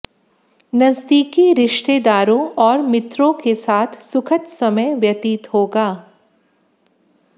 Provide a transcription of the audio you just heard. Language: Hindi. नजदीकी रिश्तेदारों और मित्रों के साथ सुखद समय व्यतीत होगा